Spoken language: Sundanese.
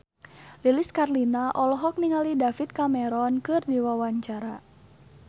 Lilis Karlina olohok ningali David Cameron keur diwawancara